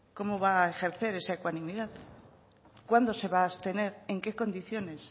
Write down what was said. cómo va a ejercer esa ecuanimidad cuándo se va a abstener en qué condiciones